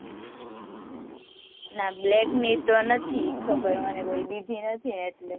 ના black ની તો નથી ખબર મને કોઈ બીજે નથી ને એટલે